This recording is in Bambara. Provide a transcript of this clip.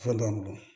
Fɛn dɔ bolo